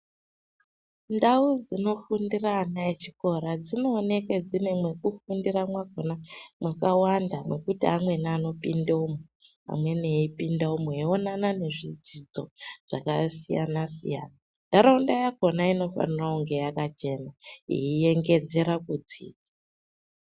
Ndau dzinofundira ana echikora dzinooneke dzine nekufundira makona makawanda mekuti amweni anopinde umu , amweni eipinda umo eionana nezvidzidzo zvakasiyana siyana ntaraunda yakona inofanira kunge yakachena yeiyengedzera kunze.